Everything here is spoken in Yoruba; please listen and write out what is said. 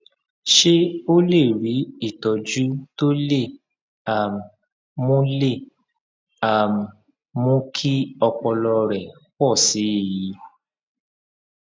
ṣé o lè rí ìtójú tó lè um mú lè um mú kí ọpọlọ rẹ pò sí i